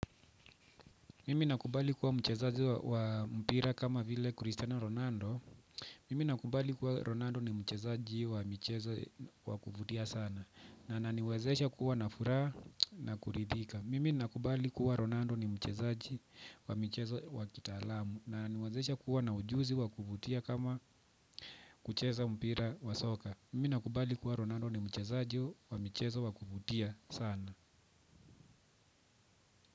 Mimi nakubali kuwa mchezaji wa mpira kama vile Cristiano Ronaldo. Mimi nakubali kuwa Ronaldo ni mchezaji wa michezo wa kuvutia sana na ananiwezesha kuwa na furaha na kuridhika mimi nakubali kuwa Ronaldo ni mchezaji wa michezo wa kitaalamu na ananiwezesha kuwa na ujuzi wa kuvutia kama kucheza mpira wa soka. Mimi nakubali kuwa Ronaldo ni mchezaji wa michezo wa kuvutia sana.